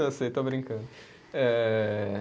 Eu sei, estou brincando. Ehh